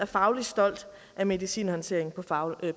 fagligt stolt af medicinhåndteringen